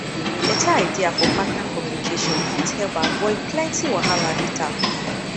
beta idea for partner communication fit help avoid plenty wahala later